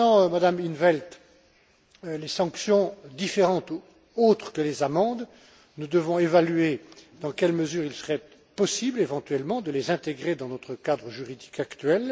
Madame in 't Veld, concernant les sanctions différentes autres que les amendes, nous devons évaluer dans quelle mesure il serait possible, éventuellement, de les intégrer dans notre cadre juridique actuel.